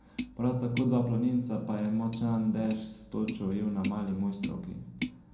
Prav tako dva planinca pa je močan dež s točo ujel na Mali Mojstrovki.